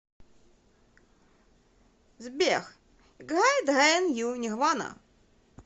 сбер играй дрэйн ю нирвана